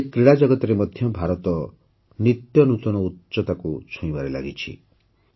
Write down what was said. ଆଜି କ୍ରୀଡ଼ା ଜଗତରେ ମଧ୍ୟ ଭାରତ ନିତ୍ୟ ନୂତନ ଉଚ୍ଚତାକୁ ଛୁଇଁବାରେ ଲାଗିଛି